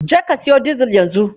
Je ka siyo dizil yanzu!